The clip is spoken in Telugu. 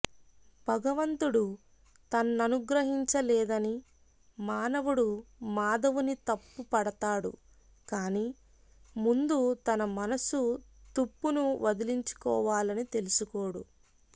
భగవంతుడు తన్ననుగ్రహించలేదని మానవుడు మాధవుని తప్పుపడతాడు కాని ముందు తన మనసు తుప్పును వదిలించుకోవాలని తెలుసుకోడు